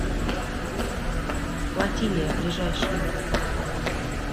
флотилия ближайший